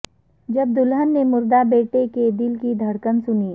جب دلھن نے مردہ بیٹے کے دل کی دھڑکن سنی